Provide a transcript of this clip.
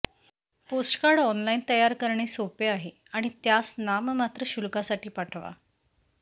postcard online online तयार करणे सोपे आहे आणि त्यास नाममात्र शुल्कासाठी पाठवा